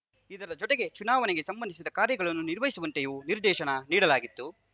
ಇದರ ಜೊತೆಗೆ ಚುನಾವಣೆಗೆ ಸಂಬಂಧಿಸಿದ ಕಾರ್ಯಗಳನ್ನು ನಿರ್ವಹಿಸುವಂತೆಯೂ ನಿರ್ದೇಶನ ನೀಡಲಾಗಿತ್ತು